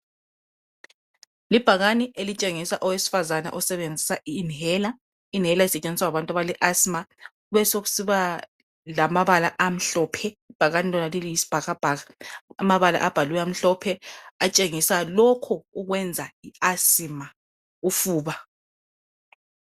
Libhaliwe elitshengisa owesifazana osebenzisa i 'inhaler'. I 'inhaler' isetshenziswa ngabantu abale Asima besokusiba lamabala amhlophe ibhakani lona liyisbhakabhaka. Amabala abhaliweyo amhlophe atshengisa lokhu okwenza I Asima ufuba.